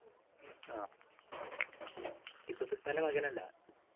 ആഹ് ടിപ്പുസുൽത്താൻ്റെ മകനല്ല